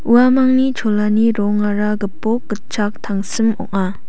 uamangni cholani rongara gipok gitchak tangsim ong·a.